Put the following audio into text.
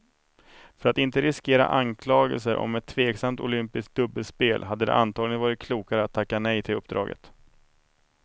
För att inte riskera anklagelser om ett tveksamt olympiskt dubbelspel hade det antagligen varit klokare att tacka nej till uppdraget.